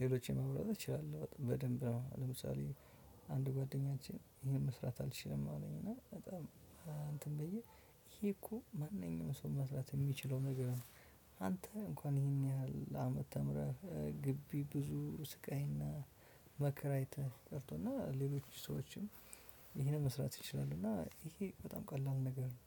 ሌሎችን ማውራት እችላለሁ በጣም በደንብ ነው። ለምሳሌ አንድ ጓደኛችን ይሄን መስራት አልችልም አለኝ እና በጣም አንትን ብዬ ይሄ እኮ ማንኛውንም ሰው መስራት የሚችለው ነገር ነው። አንተ እንኳን ይሄን ያህል አመት ተምረህ ግቢ ብዙ ስቃይ እና መከራ አይተህ ቀርቶ እና ሌሎች ሰዎችም ይሄንን መስራት ይችላሉ እና ይሄ በጣም ቀላል ነገር ነው።